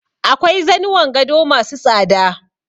Akwai zanuwan gado ma su tsada.